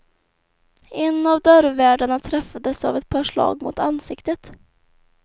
En av dörrvärdarna träffades av ett par slag mot ansiktet.